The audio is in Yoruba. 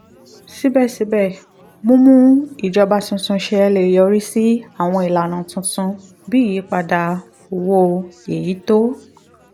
síbẹ̀síbẹ̀ mímú ìjọba tuntun ṣẹ lè yọrí sí àwọn ìlànà tuntun bí ìyípadà owó èyí tó